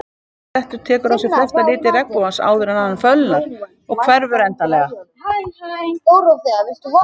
Marblettur tekur á sig flesta liti regnbogans áður en hann fölnar og hverfur endanlega.